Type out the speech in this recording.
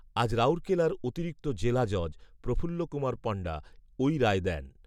আজ রাউরকেলার অতিরিক্ত জেলা জজ, প্রফুল্ল কুমার পণ্ডা ওই রায় দেন